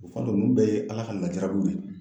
O kama ninnu bɛɛ ye Ala ka lajarabiw de ye